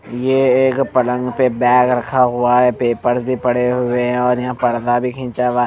यह एक पलंग पे बैग रखा हुआ है पेपर भी पड़े हुए हैं और यहाँ पर्दा भी खींचा हुआ।